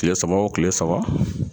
Kile saba o kile saba